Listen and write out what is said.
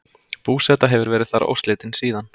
Búseta hefur verið þar óslitin síðan.